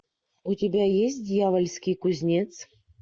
у тебя есть дьявольский кузнец